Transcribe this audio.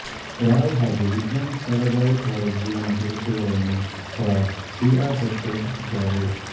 ರಾವ್ ಹಾಗೂ ವಿಕ್ರಮ್ ಸಾರಾಭಾಯ್ ಅವರ ಜೀವನ ಚರಿತ್ರೆಗಳನ್ನೂ ಸಹಾ ಸಿ ಆರ್ ಸತ್ಯ ರಚಿಸಿದ್ದಾರೆ